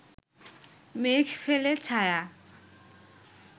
মেঘ ফেলে ছায়া